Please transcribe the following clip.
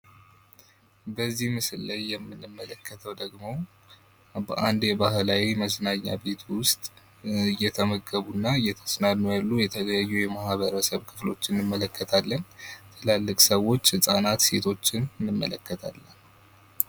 በዚህ ምስል ላይ የምንመለከተው ደግሞ በአንድ ባህላዊ መዝናኛ ቤት ውስጥ እየተመገቡ እና እየዝናኑ ያሉ የተለያዩ የማህበረሰብ ክፍሎች እንመለከታለን ትላልቅ ሰዎች፣ ህጻናት። ሴቶችን እንመለከታለን።